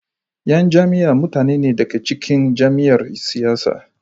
yan jam'iyya mutane ne da ke cikin jam'iyyar siyasa.